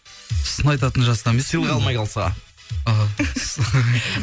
сын айтатын жаста емеспін сыйлық алмай қалса іхі